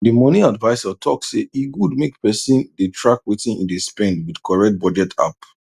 the money advisor talk say e good make person dey track wetin e dey spend with correct budget app